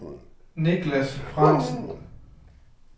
Nicklas Frandsen